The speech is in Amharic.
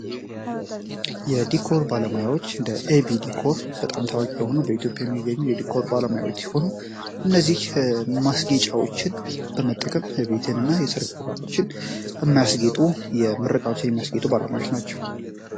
የዲኮር ባለማያዎች እደ abዲኮr በጣም ታዋቂ የሆኑ በኢትዮጵያ የሚገኙ የድcር ባለማያዎች የሆኑ እነዚህ ማስጌጫዎችን በመጠቀም ቤትን እና የሰርክ ፖጋቦችን የሚያስጌጡ የምርቃዎችን የሚያስጌጡ ባለማዎች ናቸው።